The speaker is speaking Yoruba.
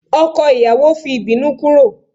ọkọ ìyàwó fi ibinu kúrò